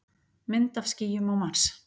Mynd af skýjum á Mars.